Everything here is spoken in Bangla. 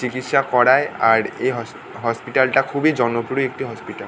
চিকিৎসা করায় আর এই হস হসপিটাল টা খুবই জনপ্রিয় একটি হসপিটাল ।